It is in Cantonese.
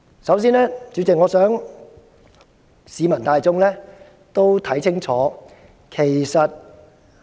主席，首先我想市民大眾看清楚，其實